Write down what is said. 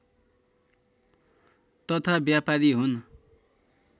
तथा व्यपारी हुन्